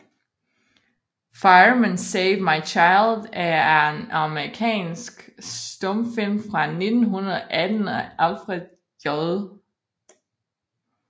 Fireman Save My Child er en amerikansk stumfilm fra 1918 af Alfred J